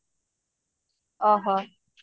ଓହହୋ